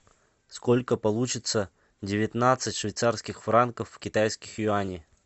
сколько получится девятнадцать швейцарских франков в китайских юаней